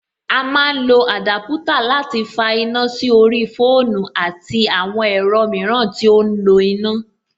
A má ń lọ àdúpútà láti fa iná sí orí fóònù àti àwọn ẹ̀rọ mìíràn tí ó ń lo iná.